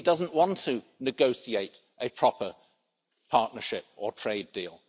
He doesn't want to negotiate a proper partnership or trade deal.